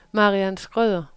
Mariann Schrøder